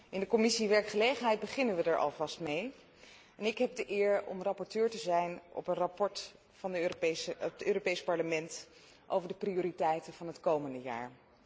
In de Commissie werkgelegenheid beginnen we er alvast mee, en ik heb de eer om rapporteur te zijn voor een verslag van het Europees Parlement over de prioriteiten van het komende jaar.